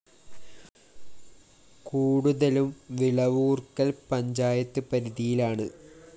കൂടുതലും വിളവൂര്‍ക്കല്‍ പഞ്ചായത്ത് പരിധിയിലാണ്